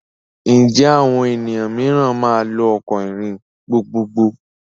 Ǹjẹ́ àwọn ènìyàn mìíràn máa lò ọkọ̀ ìrìn gbogbogbò?